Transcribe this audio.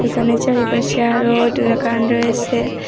এখানে পাশে আরও দোরাকান রয়েসে ।